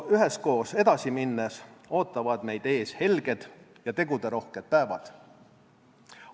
Üheskoos edasi minnes ootavad meid ees helged ja teguderohked päevad.